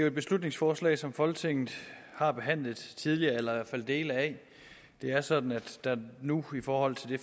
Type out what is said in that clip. et beslutningsforslag som folketinget har behandlet tidligere eller i dele af det er sådan at der nu i forhold til det